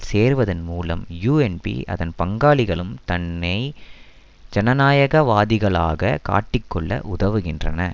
சேர்வதன் மூலம் யூஎன்பி அதன் பங்காளிகளும் தம்மை ஜனநாயகவாதிகளாக காட்டிக்கொள்ள உதவுகின்றன